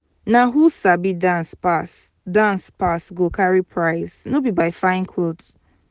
na who sabi dance pass dance pass go carry prize no be by fine cloth.